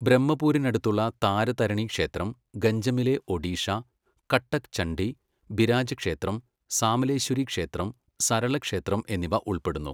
ബ്രഹ്മപൂരിനടുത്തുള്ള താരതരിണി ക്ഷേത്രം, ഗഞ്ചമിലെ ഒഡീഷ, കട്ടക്ക് ചണ്ഡി, ബിരാജ ക്ഷേത്രം, സാമലേശ്വരി ക്ഷേത്രം, സരള ക്ഷേത്രം എന്നിവ ഉൾപ്പെടുന്നു.